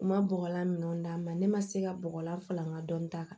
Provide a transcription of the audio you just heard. U ma bɔgɔlan minnu d'a ma ne ma se ka bɔgɔlan fa n ka dɔnni ta